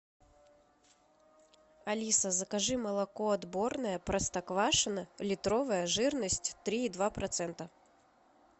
алиса закажи молоко отборное простоквашино литровое жирность три и два процента